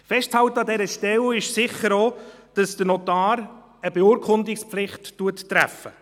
Festzuhalten ist an dieser Stelle sicher auch, dass den Notar eine Beurkundungspflicht trifft.